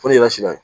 Fo ni yɛrɛ sira ye